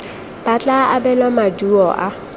ba tla abelwa maduo a